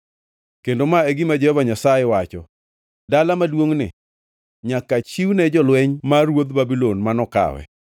Kendo ma e gima Jehova Nyasaye wacho: ‘Dala maduongʼni nyaka chiwne jolweny mar ruodh Babulon ma nokawe.’ ”